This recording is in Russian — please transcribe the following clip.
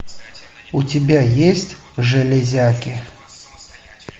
у тебя есть железяки